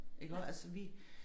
Iggå altså vi